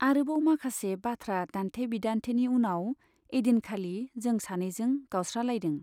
आरोबाव माखासे बाथ्रा दान्थे बिदान्थेनि उनाव ऐदिनखालि जों सानैजों गावस्रालायदों।